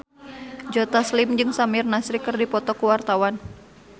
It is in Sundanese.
Joe Taslim jeung Samir Nasri keur dipoto ku wartawan